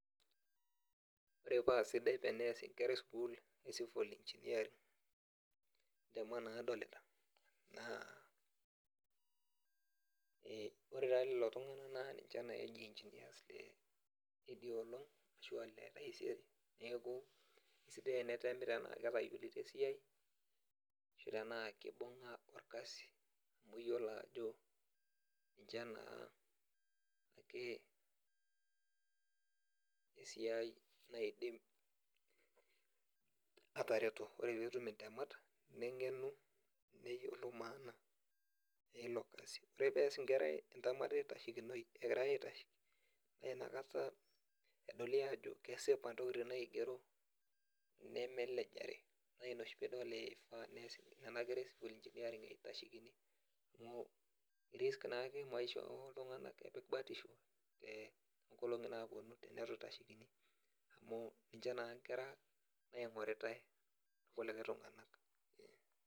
Ore paa sidai tenias inkera e sukuul e civil engineering intemat nadolita naa ee ore naa doi lelo tunganak naa ninche naa engineers leidia olong ashua Le taisere neeku aisidai tenetemi tenaa ketayiolito esiai ashuu tenaa kibuga orkasi ooyiolo Ajo ninye naa esiai naidim atareto ore pee idip intemat negenu neyiolou maana Ilo Kasi ore pee eaas inkera entemata eitashekinoi egira aitasheki naa inakata edoli Ajo kesipa intokitin naigero neme elejare naa Ina oshi pee idol eifaa nias Nena kera e civil engineering eitashekini amu e risk naake maisha ooltunganak epik batisho eeh toonkolongi naapuonu teneitu eitashekini amu niche naa inkera naigoritae ilkulikae tunganak .